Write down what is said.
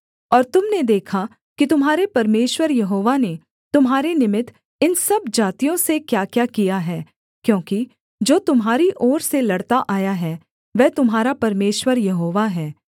और तुम ने देखा कि तुम्हारे परमेश्वर यहोवा ने तुम्हारे निमित्त इन सब जातियों से क्याक्या किया है क्योंकि जो तुम्हारी ओर से लड़ता आया है वह तुम्हारा परमेश्वर यहोवा है